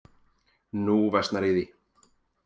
Nú versnar í því.